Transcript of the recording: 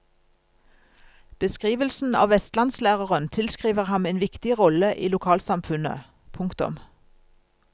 Beskrivelsen av vestlandslæreren tilskriver ham en viktig rolle i lokalsamfunnet. punktum